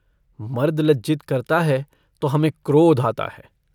मर्द लज्जित करता है तो हमें क्रोध आता है।